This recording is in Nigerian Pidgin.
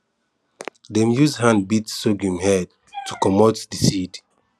dem use hand beat sorghum head to comot the seed